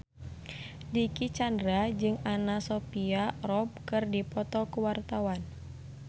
Dicky Chandra jeung Anna Sophia Robb keur dipoto ku wartawan